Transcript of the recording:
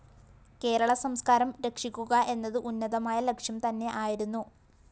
കേരളസംസ്‌കാരം രക്ഷിയക്കുക എന്നത് ഉന്നതമായ ലക്ഷ്യം തന്നെ ആയിരുന്നു